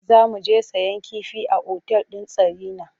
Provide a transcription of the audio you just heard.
Za mu je sayen kifi a otal ɗin Sarina.